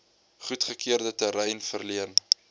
goedgekeurde terrein verleen